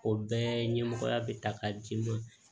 O bɛɛ ɲɛmɔgɔya bɛ ta k'a d'i ma